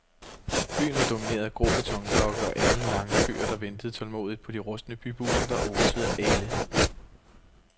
Byen var domineret af grå betonblokke og alenlange køer, der ventede tålmodigt på de rustne bybusser, der osede af ælde.